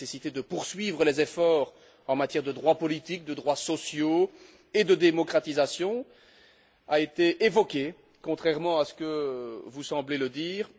La nécessité de poursuivre les efforts en matière de droits politiques, de droits sociaux et de démocratisation a été évoquée contrairement à ce que vous semblez dire